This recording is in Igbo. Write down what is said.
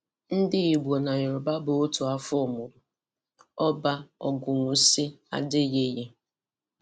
Ndigbo na Yoroba bụ ótù afọ mụrụ afọ mụrụ - Oba Ogunwusi Adeyeye